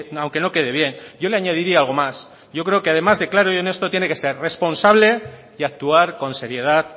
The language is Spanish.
aunque no quede bien yo le añadiría algo más yo creo que además de claro y honesto tiene que ser responsable y actuar con seriedad